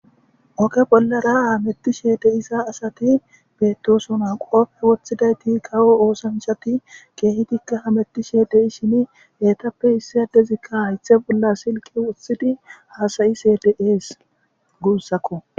Oge bollara hametishe diza asati betosona kope wothizays kawo osanichat etika hametishe dishin issi adezika hayitha bolla silike wothidi hasayishe de'es gusako